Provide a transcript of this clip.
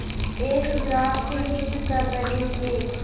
एक ग्रास से युद्ध कर रहे थे